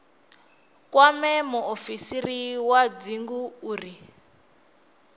kwame muofisiri wa dzingu uri